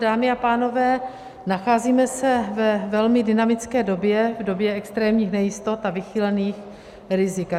Dámy a pánové, nacházíme se ve velmi dynamické době, v době extrémních nejistot a vychýlených rizik.